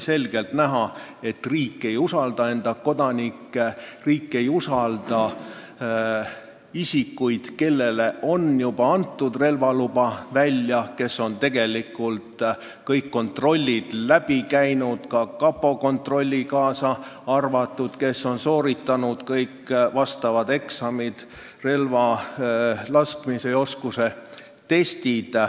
Selgelt oli näha, et riik ei usalda enda kodanikke, riik ei usalda isikuid, kellele on juba antud relvaluba ja kes on tegelikult läbi teinud kõik kontrollid, kaasa arvatud kapo kontrolli, kes on sooritanud kõik eksamid, laskmise ja relva käsitsemise oskuse testid.